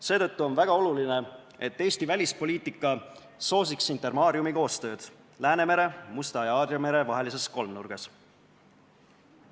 Seetõttu on väga oluline, et Eesti välispoliitika soosiks Intermariumi koostööd Läänemere, Musta mere ja Aadria mere vahelises kolmnurgas.